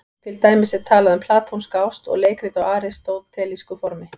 Til dæmis er talað um platónska ást og leikrit á aristótelísku formi.